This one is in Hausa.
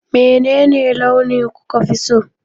Menene launi kuka fi so?